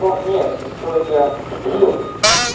ну нет с сестрой я